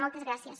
moltes gràcies